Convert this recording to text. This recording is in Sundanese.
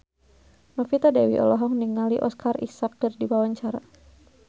Novita Dewi olohok ningali Oscar Isaac keur diwawancara